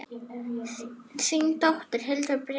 Þín dóttir, Hildur Brynja.